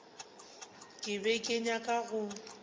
ke be ke nyaka go